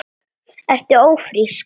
Ertu ófrísk?